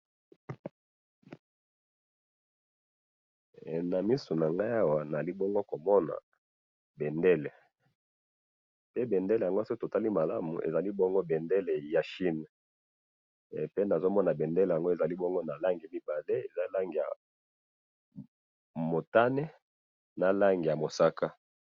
Na moni awa liboso na nga bendele ya chine, eza na langi mibale ya motane na mosaka.